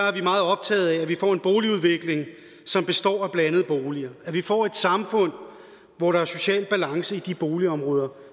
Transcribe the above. er vi meget optaget af at vi får en boligudvikling som består af blandede boliger at vi får et samfund hvor der er social balance i de boligområder